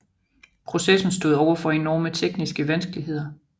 Processen stod overfor enorme tekniske vanskeligheder